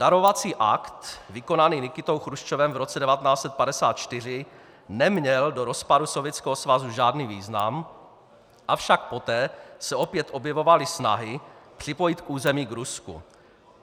Darovací akt vykonaný Nikitou Chruščovem v roce 1954 neměl do rozpadu Sovětského svazu žádný význam, avšak poté se opět objevovaly snahy připojit území k Rusku.